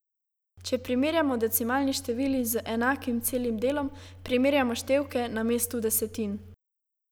Če primerjamo decimalni števili z enakim celim delom, primerjamo števke na mestu desetin.